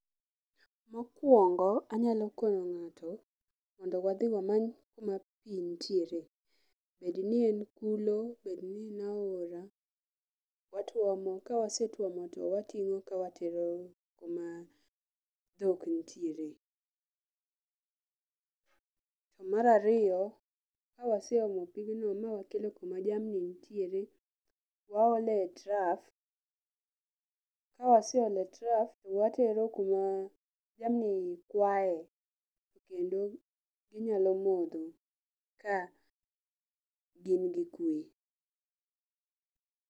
Mokuongo anyalo kono ng'ato mondo wadhi wamany kuma pii nitiere, bedni en kulo bedni en aora, watuomo kawa wasetuomo to wating'o ka watero kuma dhok nitieree. To mar aiyo, kawaseomo pigni mawakelo kuma jamni nitiere, waole e trough kawaseole trough towatero kuma jamni kwae kendo gi nyalo modho ka gin gikwee.